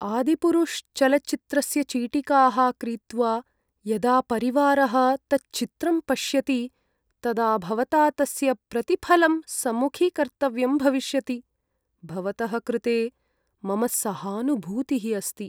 “आदिपुरुष्” चलच्चित्रस्य चीटिकाः क्रीत्वा यदा परिवारः तच्चित्रं पश्यति तदा भवता तस्य प्रतिफलं सम्मुखीकर्तव्यं भविष्यति। भवतः कृते मम सहानुभूतिः अस्ति।